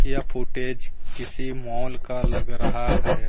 यह फुटेज किसी मॉल का लग रहा है।